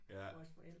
Ja